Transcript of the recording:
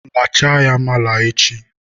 lachaa ya mala echi!